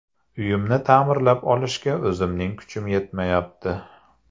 Uyimni ta’mirlab olishga o‘zimning kuchim yetmayapti.